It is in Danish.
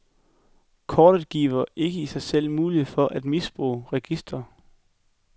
Kortet giver ikke i sig selv mulighed for at misbruge registre.